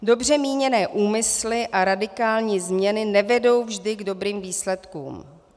Dobře míněné úmysly a radikální změny nevedou vždy k dobrým výsledkům.